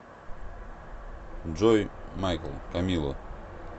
джой майкл камило